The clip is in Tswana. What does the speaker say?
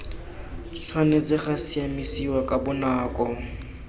tshwanetse ga siamisiwa ka bonako